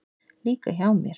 Líka hjá mér.